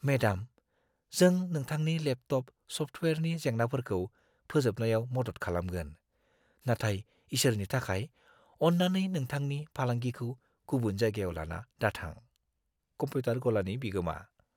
Madam, जों नोंथांनि laptop सफ्टअयेरनि जेंनाफोरखौ फोजोबनायाव मदद खालामगोन, नाथाय इसोरनि थाखाय, अन्नानै नोंथांनि फालांगिखौ गुबुन जायगायाव लाना दाथां। (कम्पिउटार गलानि बिगोमा)